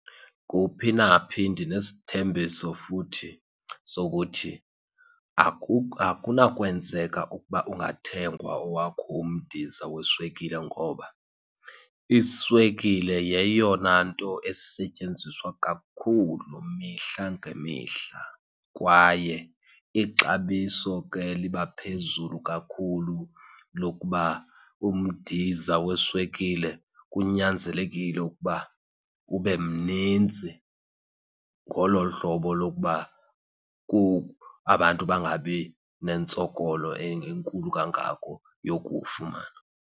Kuphi naphi ndinesithembiso futhi sokuthi akunakwanzeka ukuba ungathengwa owakho umdiza weswekile, ngoba iswekile yeyona nto esetyenziswa kakhulu mihla ngemihla. Kwaye ixabiso ke liba phezulu kakhulu lokuba umdiza weswekile kunyanzelekile ukuba ube mnintsi. Ngolo hlobo lokuba abantu bangabi nentsokolo enkulu kangako yokuwufumana.